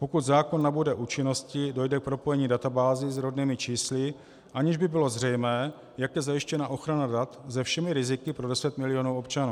Pokud zákon nabude účinnosti, dojde k propojení databází s rodnými čísly, aniž by bylo zřejmé, jak je zajištěna ochrana dat se všemi riziky pro 10 milionů občanů.